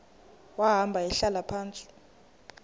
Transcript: wahamba ehlala phantsi